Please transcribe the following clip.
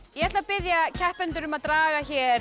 ég ætla að biðja keppendur um að draga hér